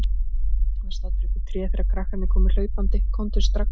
Var staddur uppi í tré þegar krakkarnir komu hlaupandi: Komdu strax!